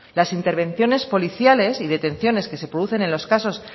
las intervenciones policiales y detenciones que se producen en los casos